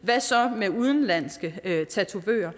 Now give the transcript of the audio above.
hvad så med udenlandske tatovører